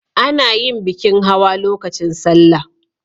A na yin bikin hawa lokacin salla